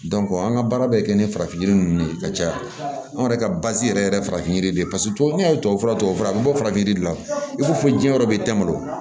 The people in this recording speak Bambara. an ka baara bɛ kɛ ni farafin yiri ninnu de ye ka caya anw yɛrɛ ka yɛrɛ ye farafin yiri de ye tubabufura tubabufura bɛ bɔ farafin yiri de la i ko fo jiɲɛ yɔrɔ bɛ nga